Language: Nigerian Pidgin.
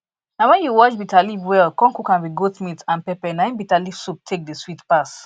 na wen you wash bitter leaf well con cook am with goat meat and pepper na im bitterleaf soup take dey sweet pass